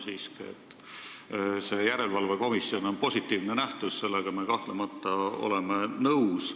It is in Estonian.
Sellega, et rahastamise järelevalve komisjon on positiivne nähtus, me oleme kahtlemata nõus.